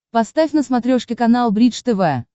поставь на смотрешке канал бридж тв